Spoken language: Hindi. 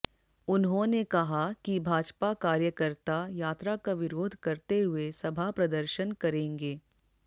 उन्होंने कहा कि भाजपा कार्यकर्ता यात्रा का विरोध करते हुए सभा प्रदर्शन करेंगे